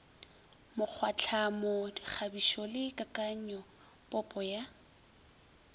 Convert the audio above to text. mokgwatlhamo dikgabišo le kakanyopopo ya